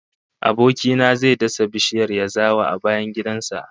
Aboki na zai dasa bishiyar yazawa a bayan gidan sa